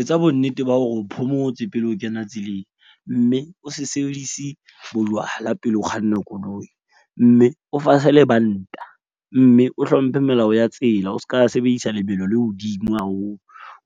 Etsa bonnete ba hore o phomotse pele o kena tseleng. Mme o se sebedise bojwala pele o kganna koloi, mme o fase lebanta. Mme o hlomphe melao ya tsela o ska sebedisa lebelo le hodimo haholo